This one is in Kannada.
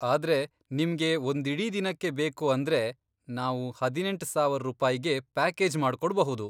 ಆದ್ರೆ ನಿಮ್ಗೆ ಒಂದಿಡೀ ದಿನಕ್ಕೆ ಬೇಕು ಅಂದ್ರೆ ನಾವು ಹದಿನೆಂಟ್ ಸಾವರ್ ರೂಪಾಯ್ಗೆ ಪ್ಯಾಕೇಜ್ ಮಾಡ್ಕೊಡ್ಬಹುದು.